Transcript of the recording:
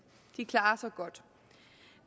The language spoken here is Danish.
de klarer sig godt